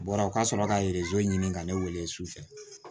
U bɔra u ka sɔrɔ ka ɲini ka ne wele sufɛ